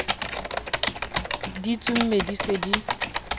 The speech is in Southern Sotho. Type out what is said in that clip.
di tsomme di se di